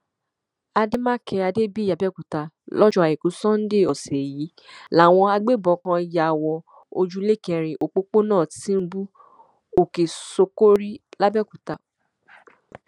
àdèmàkè adébíyí abẹòkúta lọjọ àìkú sọ́nńdé ọsẹ yìí làwọn agbébọn kan ya wọ ojúlé kẹrin òpópónà tìǹbù òkèṣókórí làbẹọkútà